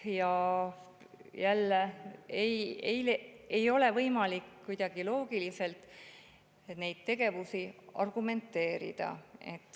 Jälle ei ole võimalik loogiliselt neid tegevusi kuidagi argumenteerida.